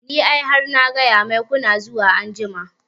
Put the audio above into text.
Ni ai har na gaya mai kuna zuwa anjima